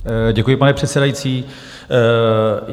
Děkuji, pane předsedající.